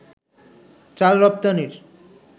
চাল রপ্তানির